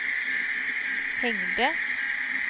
hängde